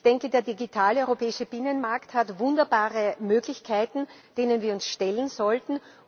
Ich denke, der digitale europäische Binnenmarkt hat wunderbare Möglichkeiten, denen wir uns stellen sollten.